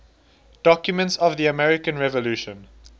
documents of the american revolution